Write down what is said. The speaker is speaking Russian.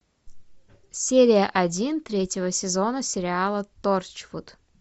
серия один третьего сезона сериала торчвуд